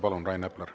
Palun, Rain Epler!